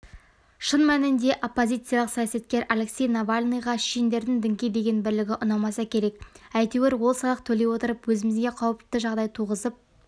шын мәнінде оппозициялық саясаткер алексей навальныйға шешендердің дінге деген бірлігі ұнамаса керек әйтеуір ол салық төлей отырып өзімізге қауіпті жағдай туғызып